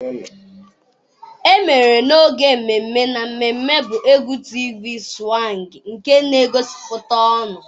Emere n'oge mmemme na mmemme bụ égwú Tịv Swange nke na-egosipụta ọṅụ.